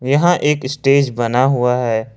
यहाँ एक स्टेज बना हुआ है।